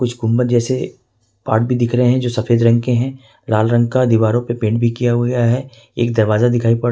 कुछ गुंबद जैसे पार्ट भी दिख रहे हैं जो सफेद रंग के हैं लाल रंग का दीवारों पे पेंट भी किया हुआ है एक दरवाजा दिखाई पड़--